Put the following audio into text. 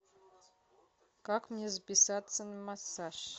как мне записаться на массаж